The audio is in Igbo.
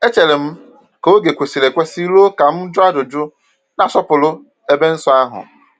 Echeere m ka oge kwesịrị ekwesị ruo ka m jụọ ajụjụ, na-asọpụrụ ebe nsọ ahụ.